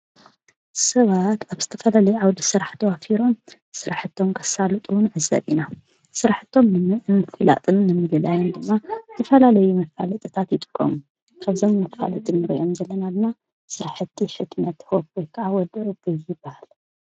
ናይ ዝተፈላለዩ መሸጢ ትካላትን ስፐርማርኬትን ካልኦትን መፍለጢ ታፔላ እንትከውን፣ ሓደ ካብኣቶም ናይ ስራሕቲ ሕትመት ሆፕ /ወዲ ዕቡይ/ ዝብል ዝተፈላለዩ ኣብ ካናቴራ ዝሳኣል ስእልን ካልኦትን ዝሕተመሉ ቦታ እዩ።